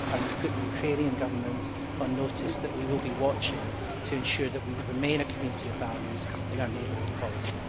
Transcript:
We put the Ukrainian Government on notice that we will be watching to ensure that we remain a community of values in our neighbourhood policy.